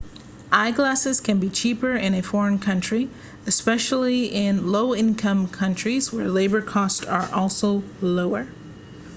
eyeglasses can be cheaper in a foreign country especially in low-income countries where labour costs are lower